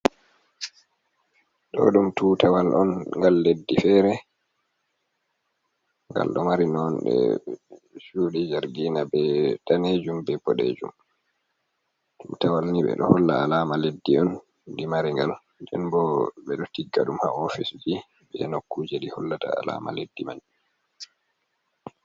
Ɗo ɗum tutawal on, ngal leddi feere. Ngal ɗo mari nonɗe cuɗi jargina, be daneejum, be boɗeejum. Tutawal ni ɓe ɗo holla alaama leddi on ɗi mari ngal, nden bo ɓe ɗo tigga ɗum haa ofisji, e nukkuje ɗi hollata alaama leddi man.